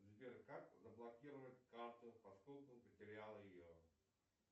сбер как заблокировать карту поскольку потерял ее